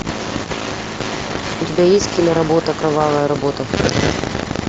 у тебя есть киноработа кровавая работа